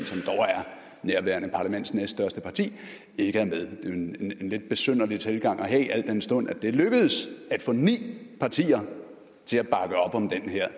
nærværende parlaments næststørste parti ikke er med det er en lidt besynderlig tilgang at have al den stund det er lykkedes at få ni partier til at bakke op om det her